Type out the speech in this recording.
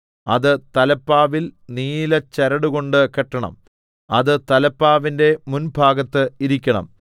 അത് തലപ്പാവിൽ നീലച്ചരടുകൊണ്ട് കെട്ടെണം അത് തലപ്പാവിന്റെ മുൻഭാഗത്ത് ഇരിക്കണം